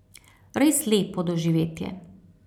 Res lepo doživetje.